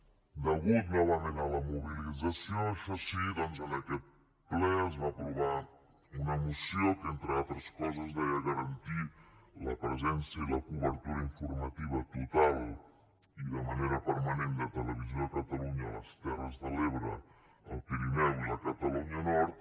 a causa novament de la mobilització això sí doncs en aquest ple es va aprovar una moció que entre d’altres coses deia garantir la presència i la cobertura informativa total i de manera permanent de televisió de catalunya a les terres de l’ebre el pirineu i la catalunya nord